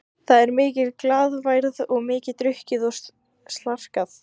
Það er mikil glaðværð og mikið drukkið og slarkað.